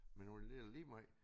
Men nu er det lidt ligemeget